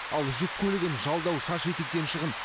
ал жүк көлігін жалдау шаш етектен шығын